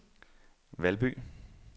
Valby